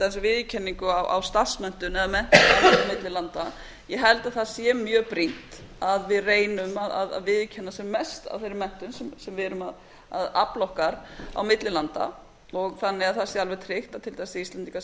dæmis viðurkenningu á starfsmenntun eða menntun á milli landa ég held að það sé mjög brýnt að við reynum að viðurkenna sem mest af þeirri menntun sem við erum að afla okkar á mikill landa þannig að það sé alveg tryggt að til dæmis íslendingar